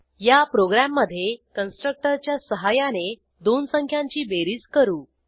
या प्रोग्रॅममधे कन्स्ट्रक्टरच्या सहाय्याने दोन संख्यांची बेरीज करू